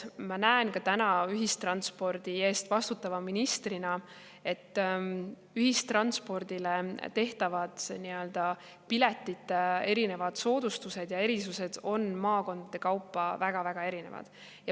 Ma näen ka täna ühistranspordi eest vastutava ministrina, et ühistranspordi piletitele tehtavad soodustused ja erisused on maakondade kaupa väga-väga erinevad.